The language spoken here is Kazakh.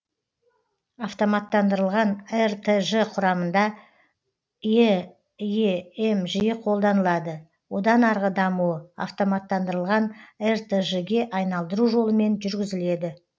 автоматтандырылған ртж құрамында эем жиі қолданылады одан арғы дамуы автоматтандырылған ртж ге айналдыру жолымен жүргізіледі